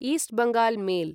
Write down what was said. east Bengal mail